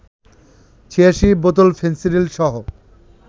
৮৬ বোতল ফেনসিডিলসহ